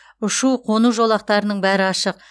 ұшу қону жолақтарының бәрі ашық